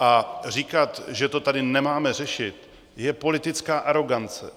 A říkat, že to tady nemáme řešit, je politická arogance.